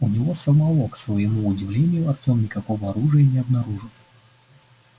у него самого к своему удивлению артём никакого оружия не обнаружил